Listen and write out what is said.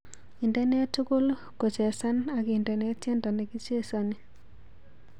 Indene tugul kochesan agindene tyendo negichesani